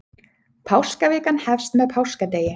páskavikan hefst með páskadegi